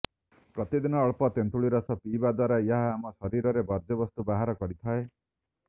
ପ୍ରତିଦିନ ଅଳ୍ପ ତେନ୍ତୁଳି ରସ ପିଇବା ଦ୍ୱାରା ଏହା ଆମ ଶରୀରର ବର୍ଜ୍ୟବସ୍ତୁ ବାହାର କରିଥାଏ